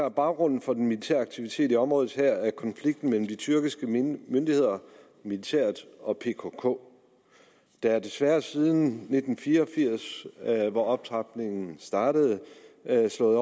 at baggrunden for den militære aktivitet i området her er konflikten mellem de tyrkiske myndigheder militæret og pkk der er desværre siden nitten fire og firs hvor optrapningen startede blevet slået